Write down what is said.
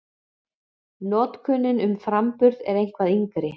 Notkunin um framburð er eitthvað yngri.